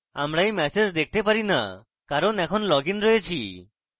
আমরা we message দেখতে না কারণ এখন লগ in রয়েছি